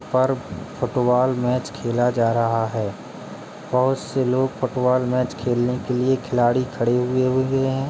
और football match खेला जा रहा है बहुत से लोग फुटबॉल मैच खेलने के लिए खिलाड़ी खड़े हुए है।